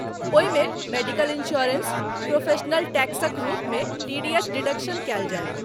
ओहिमे medical insurance, professional टैक्सक रूपमे टी.डी.एस. डिडक्शन कयल जायत।